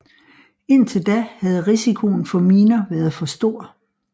Indtil da havde risikoen for miner været for stor